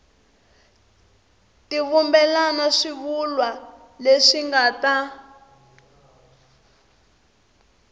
tivumbela swivulwa leswi nga ta